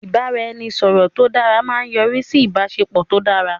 ibaraẹnisọrọ tó dara a máa yọrisi sí ìbáṣepọ̀ tó dára